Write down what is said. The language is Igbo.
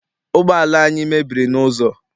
Ụgbọala anyị mebiri n'ụzọ.